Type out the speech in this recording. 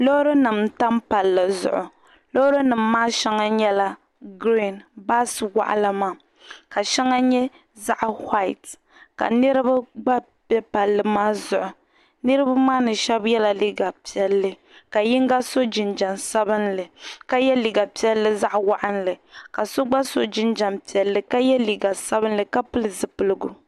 Loorinima n tam pali zuɣu loorinima maa shɛŋa nyɛla 'green" bia waɣila maa ka shɛŋa nyɛ ka shɛŋa nyɛ zaɣ' "white" ka niriba gba be palli maa zuɣu niriba maa shab yela liiga piɛlli ka yingo so jinjam sabinli ka ye liiga piɛlli zaɣ' waɣinli ka so gba so jinjam piɛlli ka ye liiga waɣinli ka pili zupiligu.